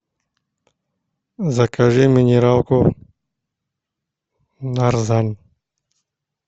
закажи минералку нарзан